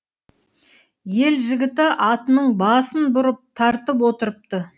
ел жігіті атының басын бұрып тартып отырыпты